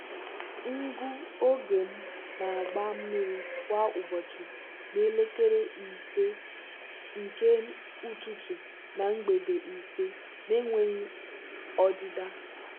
ngụ oge m na-agba mmiri kwa ụbọchị n'elekere ise nke ụtụtụ na mgbede ise na-enweghị ọdịda.